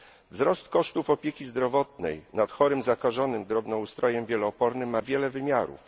Wzrost kosztów opieki zdrowotnej nad chorym zakażonym drobnoustrojem wielo odpornym ma wiele wymiarów.